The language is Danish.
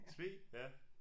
Tvede ja